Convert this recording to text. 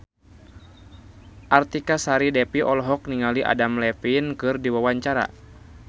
Artika Sari Devi olohok ningali Adam Levine keur diwawancara